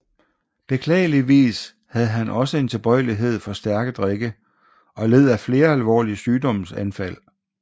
Beklageligvis havde han også en tilbøjelighed for stærke drikke og led af flere alvorlige sygdomsanfald